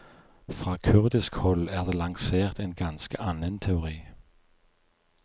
Fra kurdisk hold er det lansert en ganske annen teori.